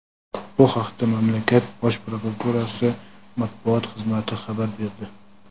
Bu haqda mamlakat Bosh prokuraturasi matbuot xizmati xabar berdi.